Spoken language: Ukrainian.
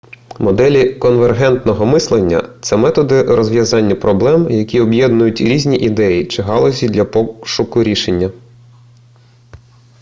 моделі конвергентного мислення це методи розв'язання проблем які об'єднують різні ідеї чи галузі для пошуку рішення